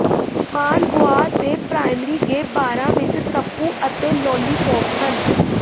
Managua ਦੇ primary gay ਬਾਰਾਂ ਵਿੱਚ ਤੱਬੂ ਅਤੇ ਲੌਲੀਪੌਪ ਹਨ